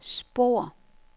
spor